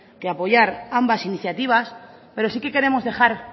que apoyar ambas iniciativas pero sí que queremos dejar